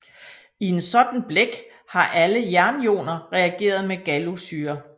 I en sådan blæk har alle jernioner reageret med gallussyre